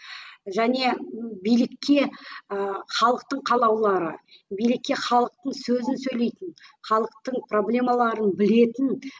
және билікке ы халықтың қалаулылары билікке халықтың сөзін сөйлейтін халықтың проблемаларын білетін